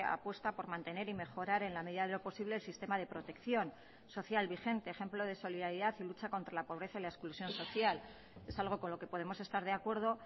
apuesta por mantener y mejorar en la medida de lo posible el sistema de protección social vigente ejemplo de solidaridad y lucha contra la pobreza y la exclusión social es algo con lo que podemos estar de acuerdo